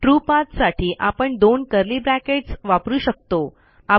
true pathसाठी आपण दोन कर्ली ब्रॅकेट्स महिरपी कंस वापरू शकतो